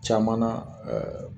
Caman na ɛɛ